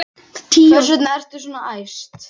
Hvers vegna ertu svona æst?